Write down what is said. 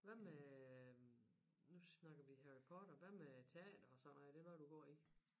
Hvad med nu snakker vi Harry Potter hvad med teater og sådan noget er det noget du går i